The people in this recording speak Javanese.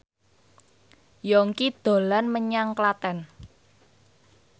Yongki dolan menyang Klaten